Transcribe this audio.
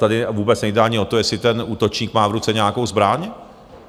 Tady vůbec nejde ani o to, jestli ten útočník má v ruce nějakou zbraň.